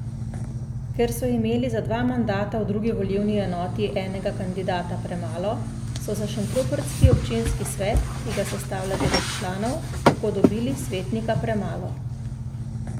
Ker so imeli za dva mandata v drugi volilni enoti enega kandidata premalo, so za šentrupertski občinski svet, ki ga sestavlja devet članov, tako dobili svetnika premalo.